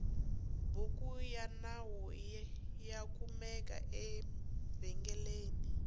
bhuku yanawu yakumeka evengeleni